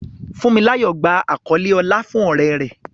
Funmilayo gba àkọlé ọlá fún oore rẹ̀.